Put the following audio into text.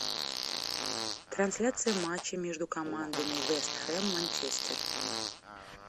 трансляция матча между командами вест хэм манчестер